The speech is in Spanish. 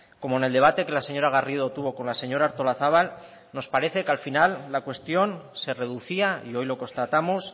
como en el debate que la señora garrido tuvo con la señora artolazabal nos parece que al final la cuestión se reducía y hoy lo constatamos